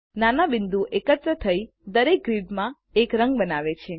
નાના બિંદુઓ એકત્ર થઇ દરેક ગ્રિડમાં એક રંગ બનાવે છે